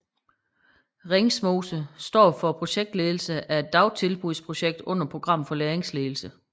Ringsmose står for forskningsledelsen af et dagtilbudsprojekt under Program for Læringsledelse